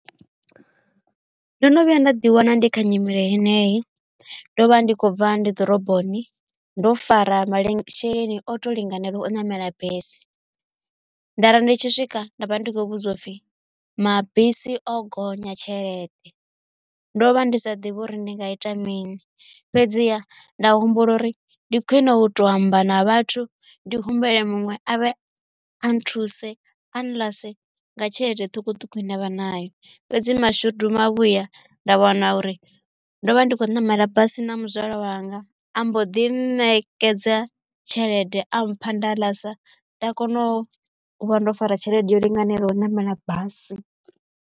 Ndo no vhuya nda ḓi wana ndi kha nyimelo heneyo ndo vha ndi khou bva ndi ḓoroboni ndo fara masheleni o to linganela u namela basi nda ri ndi tshi swika nda vha ndi khou vhudziwa upfi mabisi o gonya tshelede ndo vha ndi sa ḓivha uri ndi nga ita mini fhedziha nda humbula uri ndi khwine u to amba na vhathu ndi humbele muṅwe avhe a nthuse a nḽase nga tshelede ṱhukhuṱhukhu ine avha nayo fhedzi mashudu mavhuya nda wana uri ndo vha ndi khou namela basi na muzwala wanga ambo ḓi ṋekedza tshelede a mpha nda ḽasa nda kona u vha ndo fara tshelede yo linganelaho namela basi.